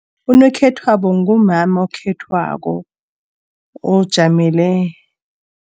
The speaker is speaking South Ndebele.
Unomkhethwabo ngumama okhethwako ojamele.